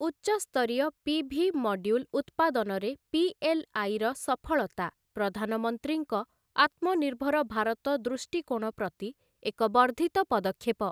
ଉଚ୍ଚସ୍ତରୀୟ PV. Module ଉତ୍ପାଦନରେ PLI. ର ସଫଳତା ପ୍ରଧାନମନ୍ତ୍ରୀଙ୍କ ଆତ୍ମନିର୍ଭର ଭାରତ ଦୃଷ୍ଟିକୋଣ ପ୍ରତି ଏକ ବର୍ଦ୍ଧିତ ପଦକ୍ଷେପ ।